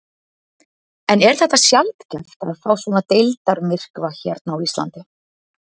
En er þetta sjaldgæft að fá svona deildarmyrkva hérna á Íslandi?